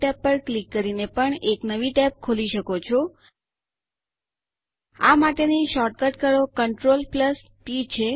000140 000139 આ માટેની શોર્ટકટ કળો Ctrl ટી છે